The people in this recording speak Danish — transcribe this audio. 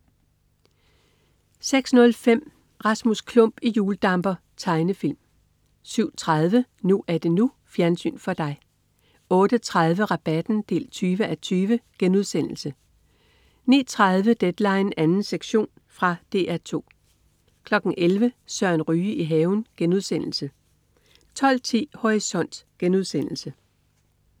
06.05 Rasmus Klump i hjuldamper. Tegnefilm 07.30 NU er det NU. Fjernsyn for dig 08.30 Rabatten 20:20* 09.30 Deadline 2. sektion. Fra DR 2 11.00 Søren Ryge i haven* 12.10 Horisont*